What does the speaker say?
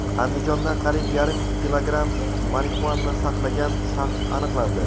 Andijonda qariyb yarim kilogramm marixuana saqlagan shaxs aniqlandi.